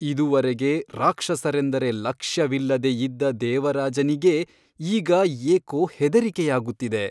ಇದುವರೆಗೆ ರಾಕ್ಷಸರೆಂದರೆ ಲಕ್ಷ್ಯವಿಲ್ಲದೆ ಇದ್ದ ದೇವರಾಜನಿಗೆ ಈಗ ಏಕೋ ಹೆದರಿಕೆಯಾಗುತ್ತಿದೆ.